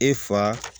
E fa